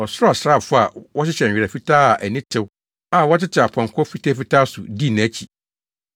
Ɔsoro asraafo a wɔhyehyɛ nwera fitaa a ani tew a wɔtete apɔnkɔ fitafitaa so dii nʼakyi.